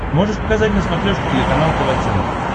можешь показать на смотрешке телеканал тв центр